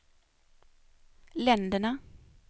länderna